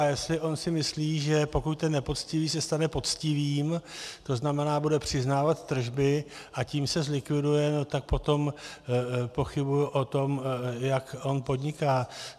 A jestli on si myslí, že pokud ten nepoctivý se stane poctivým, to znamená, bude přiznávat tržby, a tím se zlikviduje, tak potom pochybuji o tom, jak on podniká.